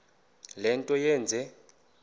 le nto yenze